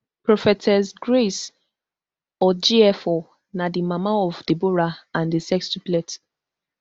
prophetess grace odjiefo na di mama of deborah and di sextuplets